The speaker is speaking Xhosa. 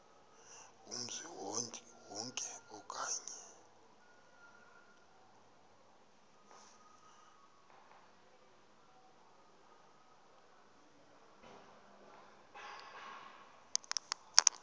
kumzi wonke okanye